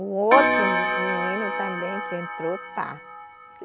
O outro menino também que entrou, está.